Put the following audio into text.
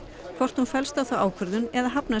hvort hún fellst á þá ákvörðun eða hafnar